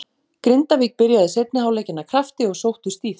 Grindavík byrjaði seinni hálfleikinn af krafti og sóttu stíft.